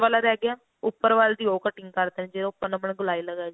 ਵਾਲਾ ਰਿਹ ਗਿਆ ਉੱਪਰ ਵਾਲੇ ਦੀ ਉਹ cutting ਕਰ ਦੇਣੀ ਜਿਹੜੀ ਆਪਾਂ ਗੋਲਾਈ ਲਗਾਈ ਸੀ